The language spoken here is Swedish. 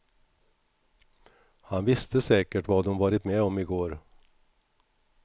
Han visste säkert vad hon varit med om i går.